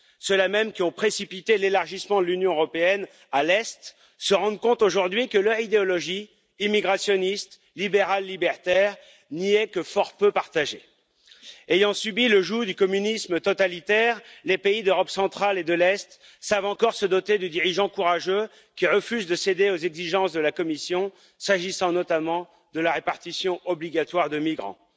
Ceux là même qui ont précipité l'élargissement de l'Union européenne à l'Est se rendent compte aujourd'hui que leur idéologie immigrationniste libérale libertaire n'y est que fort peu partagée. Ayant subi le joug du communisme totalitaire, les pays d'Europe centrale et de l'Est savent encore se doter de dirigeants courageux qui refusent de céder aux exigences de la Commission, s'agissant notamment de la répartition obligatoire de migrants.